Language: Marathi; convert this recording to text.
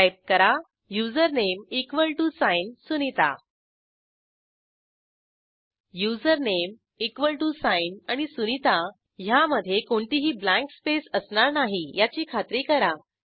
टाईप करा username equal to sign Sunita username equal to sign आणि sunitaह्यामधे कोणतीही ब्लँक स्पेस असणार नाही याची खात्री करा